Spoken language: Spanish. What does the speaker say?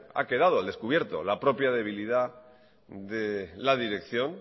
ha quedado al descubierto la propia debilidad de la dirección